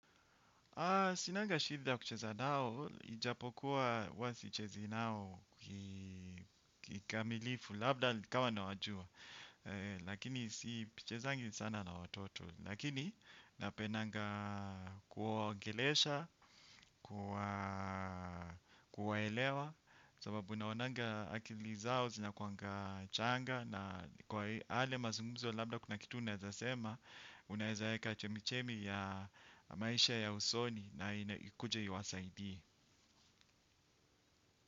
Sinanga shida kucheza nao, ijapokuwa huwa sichezi nao kikamilifu, labda nikawa nawajua. Lakini sichezangi sana na watoto. Lakini napendanga kuwaongelesha, kuwaelewa, sababu unaonanga akili zao, zinakuwanga changa, na kwa yale mazungumzo, labda kuna kitu unaezasema, unaezaeka chemichemi ya maisha ya usoni, na naikuje iwasaidie.